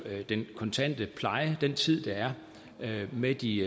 den kontante pleje den tid der er med de